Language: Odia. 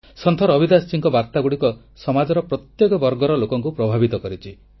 ସନ୍ଥ ରବିଦାସଙ୍କ ବାର୍ତ୍ତା ସମାଜର ପ୍ରତ୍ୟେକ ବର୍ଗର ଲୋକଙ୍କୁ ପ୍ରଭାବିତ କରିଛି